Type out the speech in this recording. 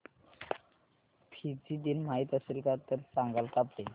Fiji दिन माहीत असेल तर सांगाल का प्लीज